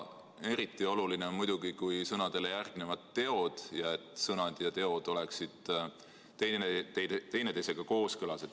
Eriti oluline on muidugi, et kui sõnadele järgnevad teod, siis sõnad ja teod oleksid teineteisega kooskõlas.